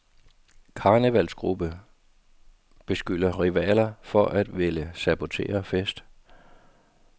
Karnevalsgruppe beskylder rivaler for at ville sabotere fest.